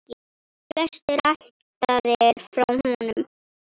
Flestir ættaðir frá honum.